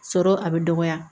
Sɔrɔ a bɛ dɔgɔya